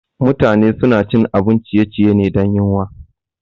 Mutane suna cin abun ciye-ciye ne dan yuwan.